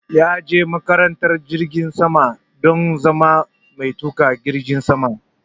Ya je makarantar jiragen sama don zama matuƙin jirgin sama